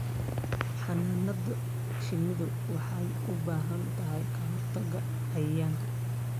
Xannaanada shinnidu waxay u baahan tahay ka-hortagga cayayaanka.